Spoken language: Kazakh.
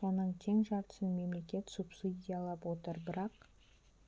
соның тең жартысын мемлекет субсидиялап отыр бірақ